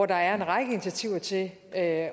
der en række initiativer til at